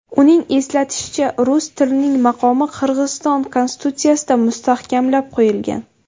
Uning eslatishicha, rus tilining maqomi Qirg‘iziston konstitutsiyasida mustahkamlab qo‘yilgan.